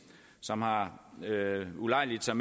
som har ulejliget sig